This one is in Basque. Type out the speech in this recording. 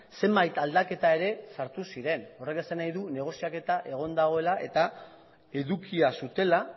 zenbait aldaketa ere sartu ziren horrek esan nahi du negoziaketa egon badagoela eta edukia zutela